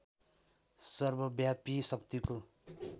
सर्वव्यापी शक्तिको